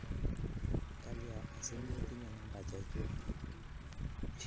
Kalya asimetinye nambek chuk?